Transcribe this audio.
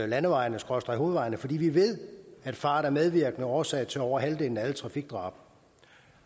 landevejene skråstreg hovedvejene fordi vi ved at fart er medvirkende årsag til over halvdelen af alle trafikdrab